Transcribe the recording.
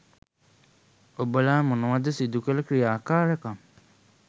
ඔබලා මොනවද සිදුකළ ක්‍රියාකාරකම්.